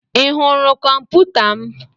Ị hụrụ kọmputa m?